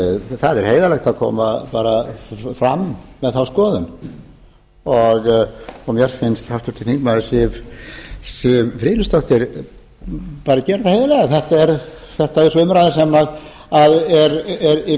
það er heiðarlegt að koma bara fram með þá skoðun og mér finnst háttvirtur þingmaður siv friðleifsdóttir bara gera það heiðarlega þetta er þessi umræða sem er í